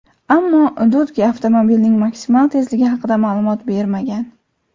Ammo Dodge avtomobilning maksimal tezligi haqida ma’lumot bermagan.